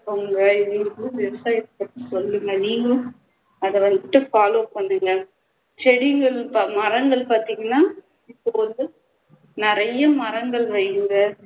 உங்க இதுக்கும் விவசாயத்தை சொல்லுங்க நீங்களும் அதை வந்துட்டு follow பண்ணுங்க செடிகளும் மரங்களும் பாத்திங்கண்ணா இப்போ வந்து நிறைய மரங்கள் வைங்க